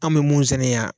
An bɛ mun sɛnɛ yan